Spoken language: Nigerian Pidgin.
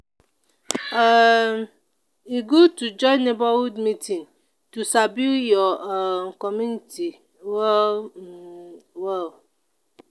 um e good to join neighborhood meeting to sabi your um community well um well.